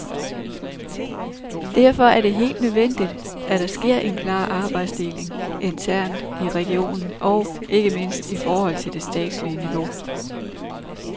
Derfor er det helt nødvendigt, at der sker en klar arbejdsdeling internt i regionen og, ikke mindst, i forhold til det statslige niveau.